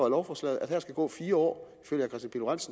af lovforslaget at der skal gå fire år